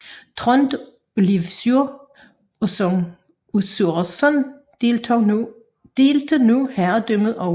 Trond og Leivur Øssursson delte nu herredømmet over øerne